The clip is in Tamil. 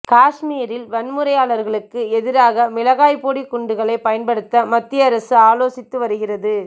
காஷ்மீரில் வன்முறையாளர்களுக்கு எதிராக மிளகாய் போடி குண்டுகளை பயன்படுத்த மத்திய அரசு ஆலோசித்து வருகிறது